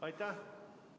Aitäh!